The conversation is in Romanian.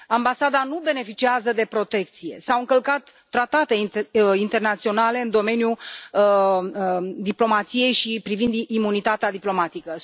Ambasada nu beneficiază de protecție, s au încălcat tratate internaționale în domeniul diplomației și privind imunitatea diplomatică.